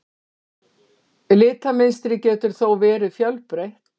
Litamynstrið getur þó verið fjölbreytt.